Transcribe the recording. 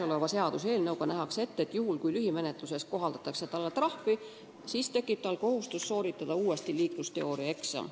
Seaduseelnõus nähakse ette, et kui lühimenetluses määratakse sellisele inimesele trahv, siis tekib tal kohustus sooritada uuesti liiklusteooriaeksam.